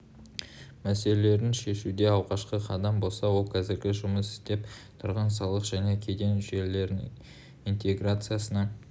мәселелерін шешуде алғашқы қадам болса ол қазіргі жұмыс істеп тұрған салық және кеден жүйелерінің интеграциясына